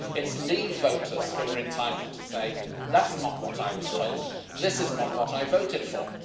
It is leave voters who are entitled to say, that's not what I was told, this is not what I voted for.